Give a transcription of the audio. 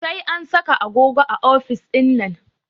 Sai an saka agogo a ofis ɗinnan